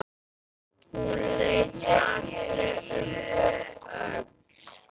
Hún leit aldrei um öxl.